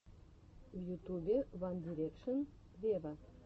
в ютубе ван дирекшен вево